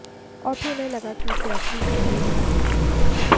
और फिर उन्हें लगा कि इसे असली संजू ही निभा पाएंगे